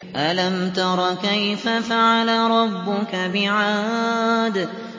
أَلَمْ تَرَ كَيْفَ فَعَلَ رَبُّكَ بِعَادٍ